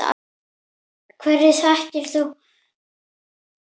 Hverju þakkar þú þennan árangur?